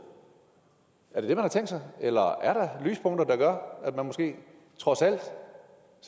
er det det man har tænkt sig eller er der lyspunkter der gør at man trods alt